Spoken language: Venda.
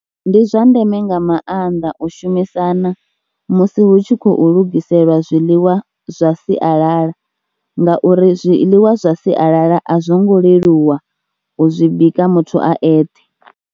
Ndi zwa ndeme nga maanḓa u shumisana musi hu tshi khou lugiselwa zwiḽiwa zwa sialala ngauri zwiḽiwa zwa sialala a zwo ngo leluwa u zwi bika muthu a eṱhe.